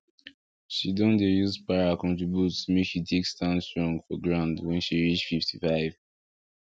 she don dey use para contribute make she take stand strong for ground when she reach 55